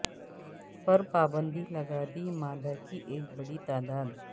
پر پابندی لگا دی مادہ کی ایک بڑی تعداد